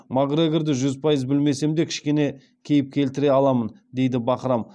макгрегорды жүз пайыз білмесем де кішкене кейіп келтіре аламын дейді бахрам